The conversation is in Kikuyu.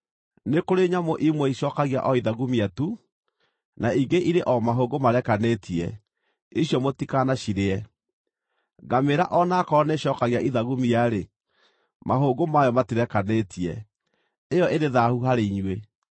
“ ‘Nĩ kũrĩ nyamũ imwe icookagia o ithagumia tu, na ingĩ irĩ o mahũngũ marekanĩtie; icio mũtikanacirĩe. Ngamĩĩra o na aakorwo nĩĩcookagia ithagumia-rĩ, mahũngũ mayo matirekanĩtie; ĩyo ĩrĩ thaahu harĩ inyuĩ.